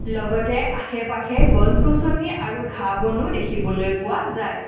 লগতে আশে-পাশে গছ-গছনি আৰু ঘাঁহ বনো দেখিবলৈ পোৱা যায়।